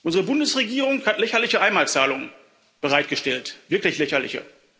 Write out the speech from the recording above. Unsere Bundesregierung hat lächerliche Einmalzahlungen bereitgestellt wirklich lächerliche.